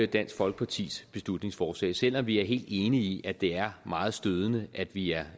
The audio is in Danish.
dansk folkepartis beslutningsforslag selv om vi er helt enige i at det er meget stødende at vi er